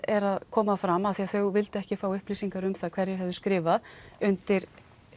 er að koma fram af því að þau vildu ekki fá upplýsingar um það hverjir höfðu skrifað undir